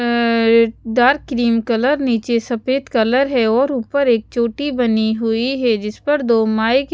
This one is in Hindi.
अः एक डार्क क्रीम कलर निचे सफ़ेद कलर है और ऊपर एक छोटी बनी हुई है जिस पर दो माए की--